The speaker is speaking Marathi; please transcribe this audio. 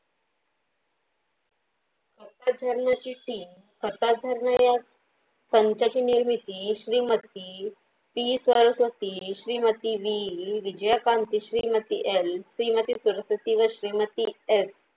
तर झरनेची team सत्ता झरने या संघटनेमध्ये Shrimati P Saraswati, Shrimati V Vijayakanti, Shrimati l Shrimati Saraswati व श्रीमती s